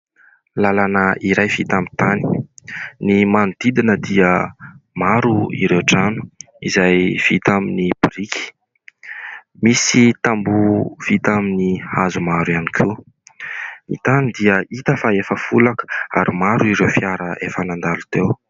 Lalana iray vita amin'ny tany. Ny manodidina dia maro ireo trano izay vita amin'ny biriky. Misy tamboho vita amin'ny hazo maro ihany koa. Ny tany dia hita fa efa folaka ary maro ireo fiara efa nandalo teo.